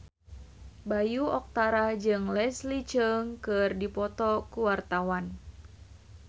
Bayu Octara jeung Leslie Cheung keur dipoto ku wartawan